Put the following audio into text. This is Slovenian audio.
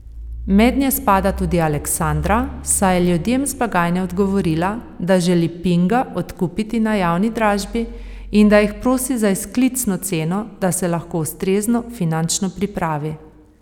Mednje spada tudi Aleksandra, saj je ljudem z blagajne odgovorila, da želi Pinga odkupiti na javni dražbi in da jih prosi za izklicno ceno, da se lahko ustrezno finančno pripravi.